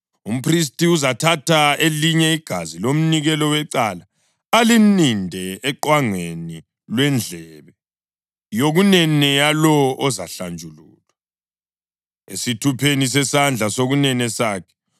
Umphristi uzathatha elinye igazi lomnikelo wecala alininde oqwangeni lwendlebe yokunene yalowo ozahlanjululwa, esithupheni sesandla sokunene sakhe.